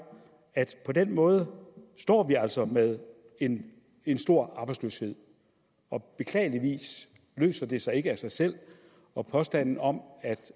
at på den måde står vi altså med en en stor arbejdsløshed og beklageligvis løser det sig ikke af sig selv og påstanden om